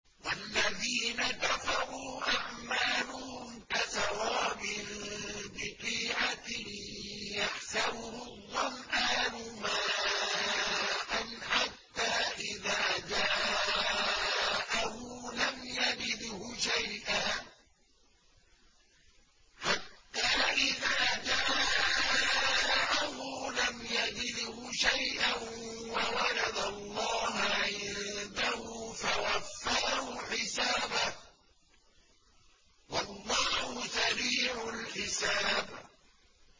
وَالَّذِينَ كَفَرُوا أَعْمَالُهُمْ كَسَرَابٍ بِقِيعَةٍ يَحْسَبُهُ الظَّمْآنُ مَاءً حَتَّىٰ إِذَا جَاءَهُ لَمْ يَجِدْهُ شَيْئًا وَوَجَدَ اللَّهَ عِندَهُ فَوَفَّاهُ حِسَابَهُ ۗ وَاللَّهُ سَرِيعُ الْحِسَابِ